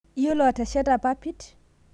Iyiolo ateshata lpapit